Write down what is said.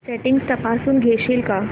settings तपासून घेशील का